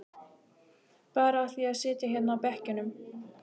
Bara af því að sitja hérna á bekkjunum.